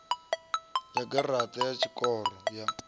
ya garaṱa ya tshikoro ya